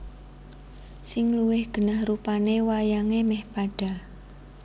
Sing luwih genah rupane wayange meh padha